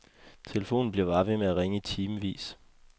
Telefonen bliver bare ved med at ringe i timevis.